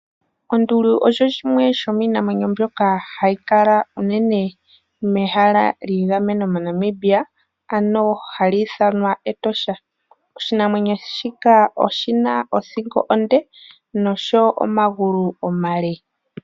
Onduli osho shimwe shomiinamwenyo mbyoka hayi kala unene mehala lyagamenwa moNamibia, ano hali ithanwa Etosha. Oshinamwenyo shika oshina othingo onde nosho wo omagulu omale.